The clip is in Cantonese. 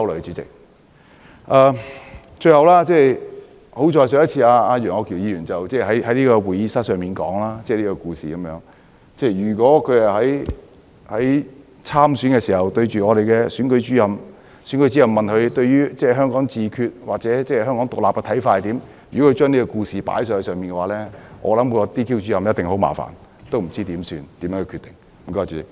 最後，幸好上次楊議員只是在會議廳說出這個故事，如果他是在參選的時候對選舉主任這樣說，又或選舉主任問他對於香港自決或獨立的看法為何，而他說出這個故事的話，我想選舉主任一定感到很麻煩，不知怎樣下決定。